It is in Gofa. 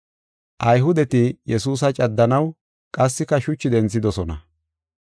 Ayhudeti Yesuusa caddanaw qassika shuchi denthidosona.